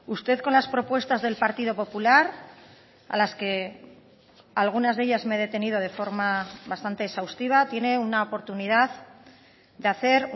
usted con las propuestas del partido popular a las que algunas de ellas me he detenido de forma bastante exhaustiva tiene una oportunidad de hacer